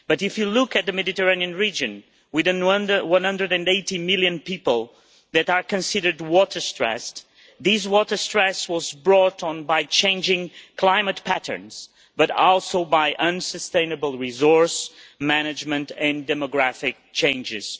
But if you look at the Mediterranean region, with 180 million people that are considered water stressed', this water stress was brought on by changing climate patterns, but also by unsustainable resource management and demographic changes.